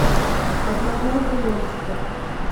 одноглазый монстр